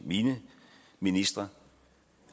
mine ministre